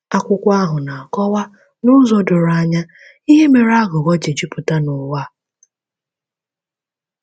Akwụkwọ ahụ na-akọwa n’ụzọ doro anya ihe mere aghụghọ ji jupụta n’ụwa a.